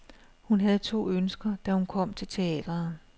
Hun havde to ønsker, da hun kom til teatret.